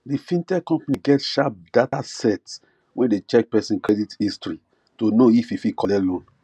d fintech company get sharp data set wey dey check person credit history to know if e fit collect loan